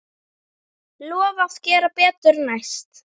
Lofa að gera betur næst.